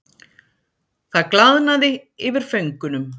Það glaðnaði yfir föngunum.